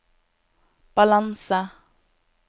balanse